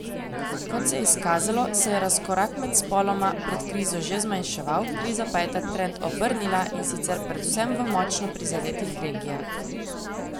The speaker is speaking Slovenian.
Kot se je izkazalo, se je razkorak med spoloma pred krizo že zmanjševal, kriza pa je ta trend obrnila, in sicer predvsem v močno prizadetih regijah.